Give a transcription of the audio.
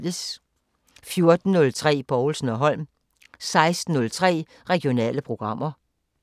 14:03: Povlsen & Holm 16:03: Regionale programmer